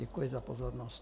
Děkuji za pozornost.